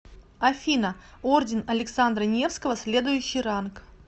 афина орден александра невского следующий ранг